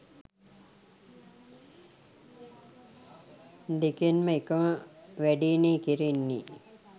දෙකෙන්ම එකම වැඩේනේ කෙරෙන්නේ.